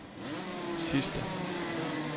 sidste